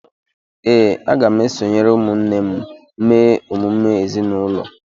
Ee, aga m esonyere ụmụnne m mee emume ezinụlọ